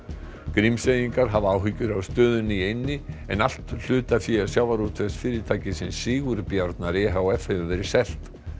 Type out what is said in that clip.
Grímseyingar hafa áhyggjur af stöðunni í eynni en allt hlutafé Sigurbjarnar e h f hefur verið selt